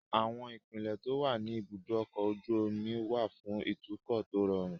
Àwọn ipele tó wà ní ibùdó ọkọ̀ ojú omi wà fún ìtúkọ̀ tó rọrùn